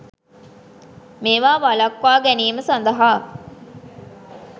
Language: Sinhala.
මේවා වලක්වා ගැනීම සදහා